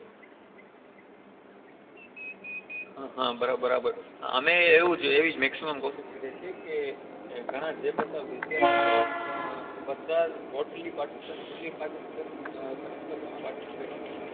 હા હા બરાબર અમે એવું maximum ગણતરી કરે છે કે ભના જે પડતા વિઘાર્થી ઔ છે બઘા totaliy participate ફૂલી participate કરવાના છે ને